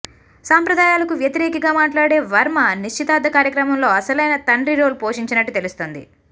సంప్రదాయాలకు వ్యతిరేఖిగా మాట్లాడే వర్మ నిశ్చితార్థ కార్యక్రమంలో అసలైన తండ్రి రోల్ పోషించినట్టు తెలుస్తోంది